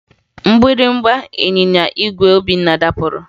Mgbịrịmgba ịnyịnya igwe Obinna dapụrụ